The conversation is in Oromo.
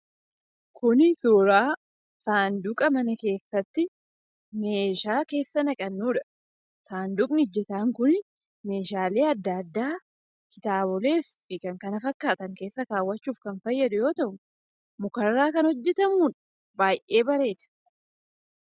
Kuni suuraa saanduqa mana keessatti meeshaa keessa naqannuudha. Saanduqni ejjetaan kun meeshaalee adda addaa, kitaabolee fi kan kana fakkaatan keessa kaawwachuuf kan fayyadu yoo ta'u muka irraa kan hojjetamuudha. Baay'ee bareeda.